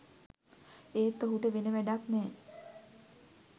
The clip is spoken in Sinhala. ඒත් ඔහුට වෙන වැඩක් නෑ.